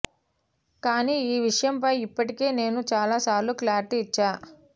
కానీ ఈ విషయంపై ఇప్పటికే నేను చాలా సార్లు క్లారిటీ ఇచ్చా